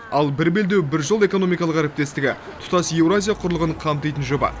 ал бір белдеу бір жол экономикалық әріптестігі тұтас еуразия құрлығын қамтитын жоба